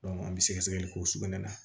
an bɛ sɛgɛ sɛgɛli k'o sugunɛ na